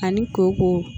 Ani ko ko